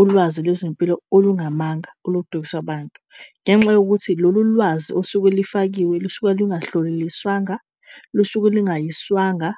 ulwazi lwezempilo olungamanga oludukisa abantu, ngenxa yokuthi lolu lwazi osuke lifakiwe lusuke lungahloliliswanga lusuke lingayiswanga